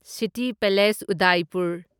city palace Udaipur